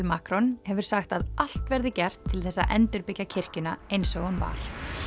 Macron hefur sagt að allt verði gert til þess að endurbyggja kirkjuna eins og hún var